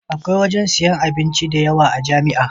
Akwai wajan siyan abinci da yawa a jamia